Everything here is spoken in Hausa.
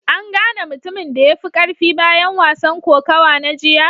An gane mutumin da ya fi karfi bayan wasan kokawa na jiya?